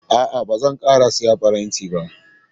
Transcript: A'a, ba zan ƙara siyan faranti ba.